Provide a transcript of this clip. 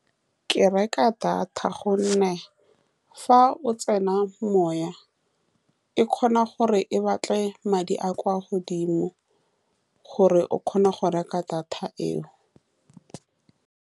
Ke reka data ka gonne fa o tsenya mowa e kgona gore e batle madi a a kwa godimo, gore o kgone go reka data eo.